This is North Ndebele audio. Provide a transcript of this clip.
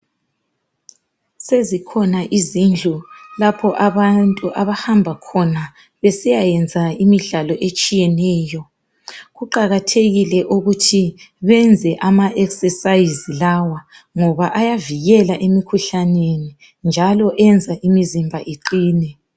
Sezikhona izindlu lapho abantu abahamba khona besiya yenza imidlalo etshiyeneyo kuqakathekile ukuthi benze amaExercise lawa ngoba ayavikela imkhuhlane njalo yenza imizimba iqine